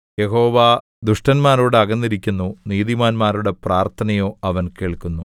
യഹോവ ദുഷ്ടന്മാരോട് അകന്നിരിക്കുന്നു നീതിമാന്മാരുടെ പ്രാർത്ഥനയോ അവൻ കേൾക്കുന്നു